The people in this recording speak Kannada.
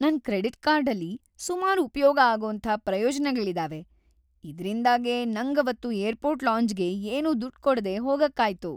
ನನ್ ಕ್ರೆಡಿಟ್ ಕಾರ್ಡಲ್ಲಿ ಸುಮಾರ್‌ ಉಪ್ಯೋಗ ಆಗೋಂಥ ಪ್ರಯೋಜ್ನಗಳಿದಾವೆ. ‌ಇದ್ರಿಂದಾಗೇ ನಂಗವತ್ತು ಏರ್ಪೋರ್ಟ್ ಲಾಂಜ್‌ಗೆ ಏನೂ ದುಡ್ಡ್‌ ಕೊಡ್ದೇ ಹೋಗೋಕ್ಕಾಯ್ತು.